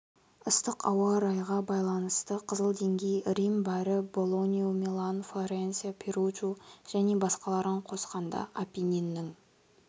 ыстық ауа райыға байланысты қызыл деңгей рим бари болонью милан флоренция перуджу және басқаларын қосқанда апенниннің